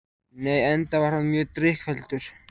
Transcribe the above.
Nei, enda var hann mjög drykkfelldur